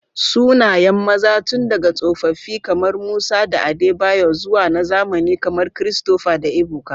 Sunayen maza tun daga tsofaffi kamar Musa da Adebayor zuwa na zamani kamar Christopher da Ebuka.